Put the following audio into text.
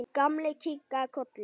Gamli kinkaði kolli.